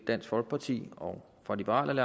dansk folkeparti og og liberal